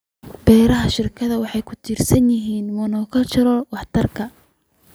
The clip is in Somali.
Beeraha shirkadaha waxay ku tiirsan yihiin monocultures waxtarka.